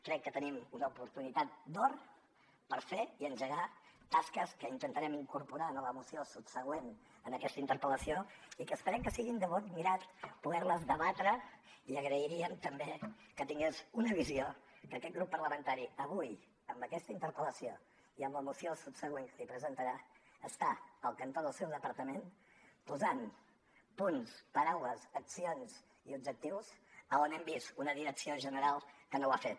crec que tenim una oportunitat d’or per fer i engegar tasques que intentarem incorporar en la moció subsegüent a aquesta interpel·lació i que esperem que sigui de bon grat poderles debatre i agrairíem també que tingués una visió que aquest grup parlamentari avui amb aquesta interpel·lació i amb la moció subsegüent que li presentarà està al cantó del seu departament posant punts paraules accions i objectius a on hem vist una direcció general que no ho ha fet